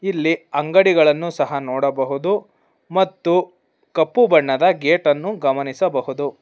ಇಲ್ಲಿ ಅಂಗಡಿಗಳನ್ನು ಸಹ ನೋಡಬಹುದು ಮತ್ತು ಕಪ್ಪು ಬಣ್ಣದ ಗೇಟನ್ನು ಗಮನಿಸಬಹುದು.